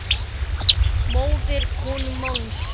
móðir konu manns